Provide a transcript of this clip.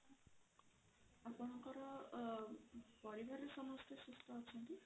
ଆପଣଙ୍କର ଅ ପରିବାର ରେ ସମସ୍ତେ ସୁସ୍ଥ ଅଛନ୍ତି?